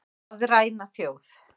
Að ræna þjóð